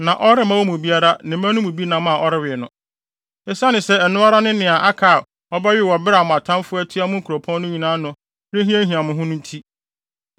na ɔremma wɔn mu biara ne mma no mu bi nam a ɔrewe no. Esiane sɛ ɛno ara ne nea aka a ɔbɛwe wɔ bere a mo atamfo atua mo nkuropɔn no nyinaa ano rehiahia mo ho no nti.